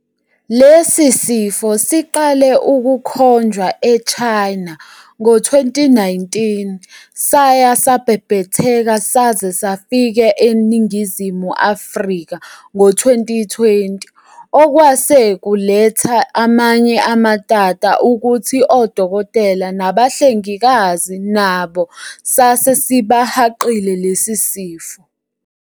Lesi sifo siqale ukukhonjwa eChina ngo-2019 saya sabhebhetheka saze safike eNingizumi Africa ngo-2020. Okwase kuletha amanye amatata ukuthi odokotela nabahlengikazi nabo sase sibahaqile lesi sifo.